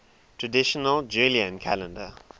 traditional julian calendar